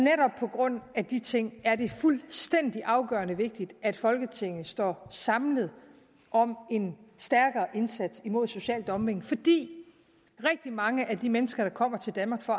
grund af de ting er det fuldstændig afgørende vigtigt at folketinget står samlet om en stærkere indsats imod social dumping fordi rigtig mange af de mennesker der kommer til danmark for